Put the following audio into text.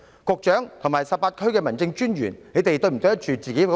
局長及18區民政事務專員是否對得住自己的薪水？